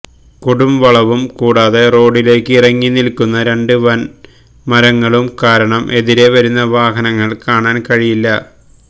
കൊടുംവളവും കൂടാതെ റോഡിലേക്ക് ഇറങ്ങി നില്ക്കുന്ന രണ്ട് വന് മരങ്ങളും കാരണം എതിരെ വരുന്ന വാഹനങ്ങള് കാണാന് കഴിയില്ല